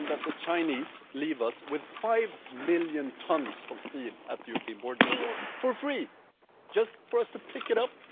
Imagine that the Chinese leave us with 500 million tons of steel at the European border for free, just for us to pick up.